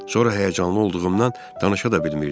Sonra həyəcanlı olduğumdan danışa da bilmirdim.